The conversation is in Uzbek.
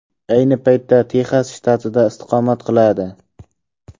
Ayni paytda Texas shtatida istiqomat qiladi.